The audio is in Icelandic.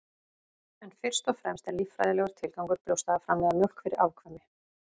en fyrst og fremst er líffræðilegur tilgangur brjósta að framleiða mjólk fyrir afkvæmi